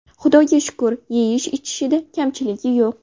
Xudoga shukur, yeyish-ichishda kamchiligi yo‘q.